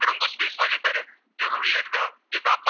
જે તાપમાન